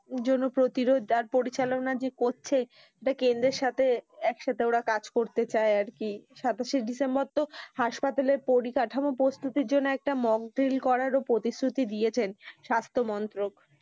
জন্য প্রতিরোধ আর পরিচালানা যে করছে তা কেন্দ্রের সাথে একসাথে ওরা কাজ করতে চায় আরকি সাতাশে ডিসেম্বর তো হাসপাতালে পরিকাঠামো প্রস্তুতির করার জন্য একটা মক বিল করারও প্রতিশ্রুতি দিয়েছেন স্বাস্থ মন্ত্রক।